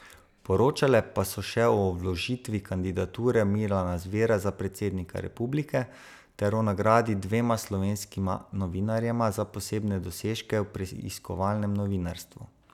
Poročale pa so še o vložitvi kandidature Milana Zvera za predsednika republike ter o nagradi dvema slovenskima novinarjema za posebne dosežke v preiskovalnem novinarstvu.